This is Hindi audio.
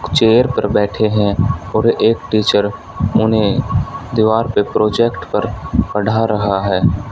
कुछ चेयर पर बैठे है और एक टीचर उन्हें दीवार पे प्रोजेक्ट पर पढ़ रहा है।